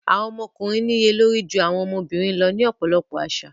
Àwọn ọmọkùnrin níye lórí ju àwọn ọmọbìnrin lọ ní ọ̀pọ̀lọpọ̀ àṣà.